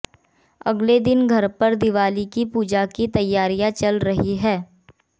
अगले दिन घर पर दिवाली की पूजा की तैयारियां चल रही हैं